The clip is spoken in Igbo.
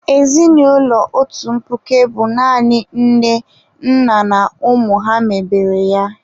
Ezinụlọ otu mkpuke bụ naanị nne, nna na ụmụ ha mebere ya.